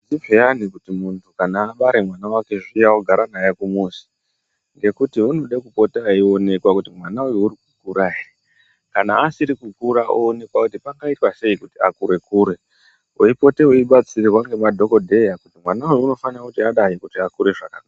Zviyani kuti muntu kana abare mwana wake ogara naye kumuzi ngekuti unode kupota eionekwa kuti mwana uyu urikukura ere kana asiri kukura onekwa kuti pangaitwa sei kuti akure kure weipote weibatsirwa ngemadhokodheya kuti mwana uyu unofana kuti adayi kuti akure zvakanaka.